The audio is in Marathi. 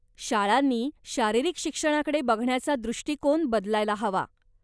शाळांनी शारीरिक शिक्षणाकडे बघण्याचा दृष्टीकोन बदलायला हवा.